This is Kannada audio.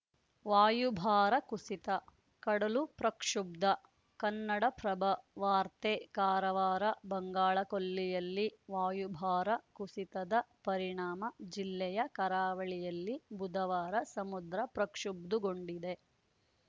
ವಾಯುಭಾರ ಕುಸಿತ ಕಡಲು ಪ್ರಕ್ಷುಬ್ಧ ಕನ್ನಡಪ್ರಭ ವಾರ್ತೆ ಕಾರವಾರ ಬಂಗಾಳಕೊಲ್ಲಿಯಲ್ಲಿ ವಾಯುಭಾರ ಕುಸಿತದ ಪರಿಣಾಮ ಜಿಲ್ಲೆಯ ಕರಾವಳಿಯಲ್ಲಿ ಬುಧವಾರ ಸಮುದ್ರ ಪ್ರಕ್ಷುಬ್ಧುಗೊಂಡಿದೆ